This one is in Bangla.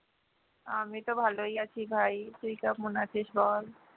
আমি তো ভালোই আছি ভাই তুই কেমন আছিস বল?